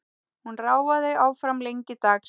Hún ráfaði áfram lengi dags.